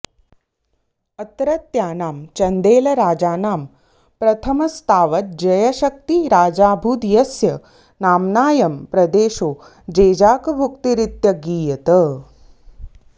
अत्रत्यानां चन्देलराजानां प्रथमस्तावज्जयशक्ती राजाभूद् यस्य नाम्नायं प्रदेशो जेजाकभुक्तिरित्यगीयत